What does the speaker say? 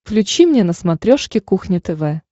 включи мне на смотрешке кухня тв